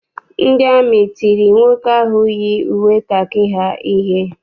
Ndị amị tiri nwoke ahụ yi uwe kakị ha ihe.